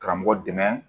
Karamɔgɔ dɛmɛ